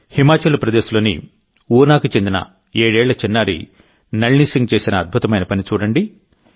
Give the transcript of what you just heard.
హిమాచల్ ప్రదేశ్లోని ఊనాకు చెందిన ఏడేళ్ల చిన్నారి నళిని సింగ్ చేసిన అద్భుతమైన పని చూడండి